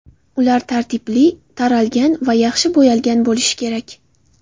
Ular tartibli, taralgan va yaxshi bo‘yalgan bo‘lishi kerak.